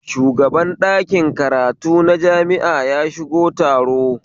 Shugaban ɗakin karatu na jami'a ya shigo taro